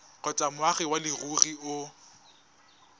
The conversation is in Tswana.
kgotsa moagi wa leruri o